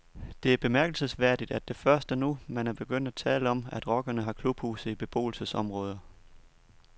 Det er bemærkelsesværdigt, at det først er nu, man er begyndt at tale om, at rockerne har klubhuse i beboelsesområder.